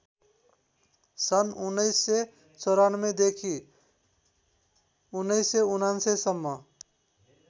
सन् १९९४ देखि १९९९ सम्म